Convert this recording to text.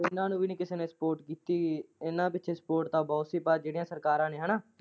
ਇੰਨਾਂ ਨੂੰ ਵੀ ਨੀ ਕਿਸੇ ਨੇ spot ਕੀਤੀ ਹੀ, ਇੰਨਾਂ ਪਿੱਛੇ spot ਤਾਂ ਬਹੁਤ ਸੀ ਪਰ ਜਿਹੜੀਆਂ ਸਰਕਾਰਾਂ ਨੇ ਹਨਾਂ।